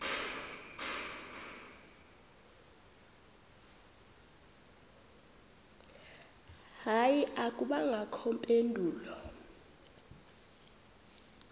hayi akubangakho mpendulo